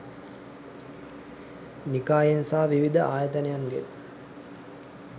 නිකායෙන් සහ විවිධ ආයතනයන්ගෙන්